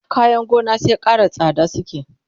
kayan gona sai Ƙara tsada suke